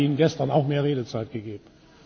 Ich habe Ihnen gestern auch mehr Redezeit gegeben.